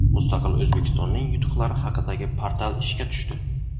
Mustaqil O‘zbekistonning yutuqlari haqidagi portal ishga tushdi.